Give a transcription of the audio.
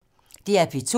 DR P2